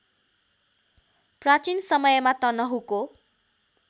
प्राचीन समयमा तनहुँको